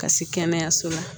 Ka se kɛnɛyaso la